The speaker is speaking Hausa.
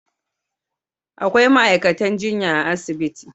Akwai ma'aikatan jinya a asibitin.